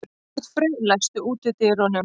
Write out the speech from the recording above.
Arnfreyr, læstu útidyrunum.